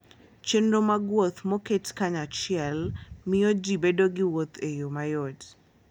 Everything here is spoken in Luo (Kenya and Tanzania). Chenro mag wuoth moket kanyachiel miyo ji bedo gi wuoth e yo mayot.